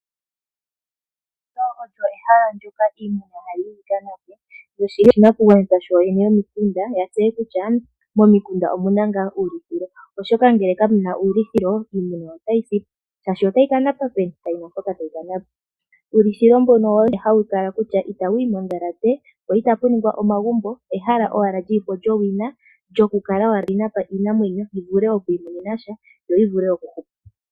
Ndika olyo ehala ndika iimuna hayi yi kanape noshili oshinakugwanithwa shoyeene yomikunda ya tseye kutya momikunda omu na ngaa uulithilo oshoka ngele kamuna uulithilo iimuna otayi si po shashi otayi kanapa peni? Kayina mpoka tayi kanapa uulithilo mbuno owo ne hawu tala kutya itawu yi mondhalate po itapu ningwa omagumbo ehala owala lili po lyowina lyokula owala tali napa yi vule okwimonenasha yo yi vule okuhupa.